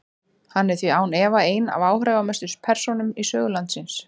Hann er því án efa ein af áhrifamestu persónum í sögu landsins.